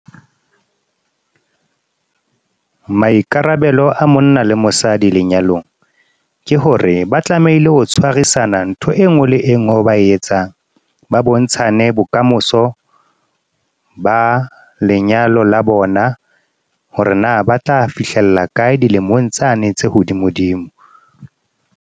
Maikarabelo a monna le mosadi lenyalong ke hore ba tlamehile ho tshwarisana ntho e ngwe le e ngwe, e ba etsang ba bontshane bokamoso ba lenyalo la bona, hore na ba tla fihlella kae dilemong tsane tse hodimodimo.